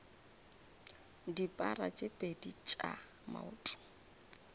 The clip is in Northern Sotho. dipara tse pedi tša maoto